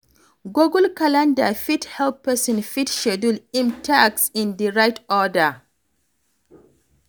Google calender fit help person fit schedule im task in di right order